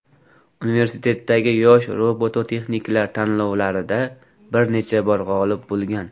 Universitetdagi yosh robototexniklar tanlovlarida bir necha bor g‘olib bo‘lgan.